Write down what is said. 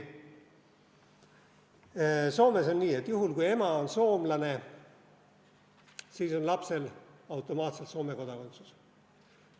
Soomes on nii, et juhul, kui ema on soomlane, on lapsel automaatselt Soome kodakondsus.